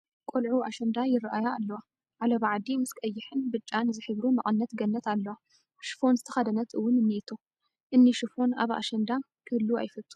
ቆልዑ ኣሸንዳ ይርአያ ኣለዋ፡፡ ዓለባ ዓዲ ምስ ቀይሕን ብጫን ዝሕብሩ መቐነት ገነት እለዋ፡፡ ሽፎን ዝተኸድነት እውን እኔቶ፡፡ እኒ ሽፎን ኣብ ኣሸዳንዳ ክህሉ ኣይፈቱን፡፡